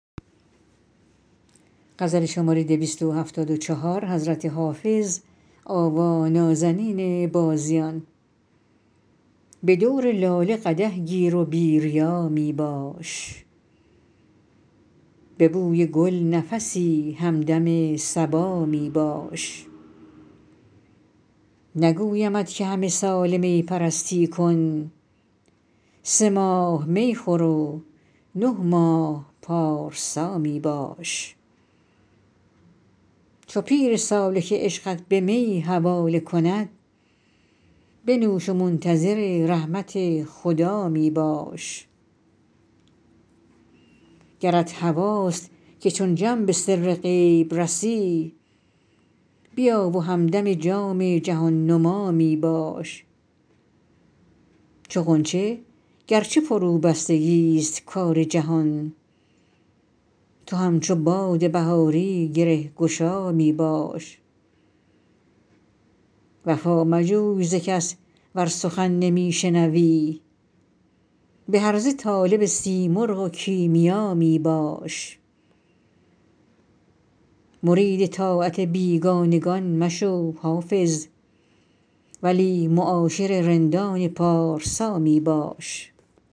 به دور لاله قدح گیر و بی ریا می باش به بوی گل نفسی همدم صبا می باش نگویمت که همه ساله می پرستی کن سه ماه می خور و نه ماه پارسا می باش چو پیر سالک عشقت به می حواله کند بنوش و منتظر رحمت خدا می باش گرت هواست که چون جم به سر غیب رسی بیا و همدم جام جهان نما می باش چو غنچه گر چه فروبستگی ست کار جهان تو همچو باد بهاری گره گشا می باش وفا مجوی ز کس ور سخن نمی شنوی به هرزه طالب سیمرغ و کیمیا می باش مرید طاعت بیگانگان مشو حافظ ولی معاشر رندان پارسا می باش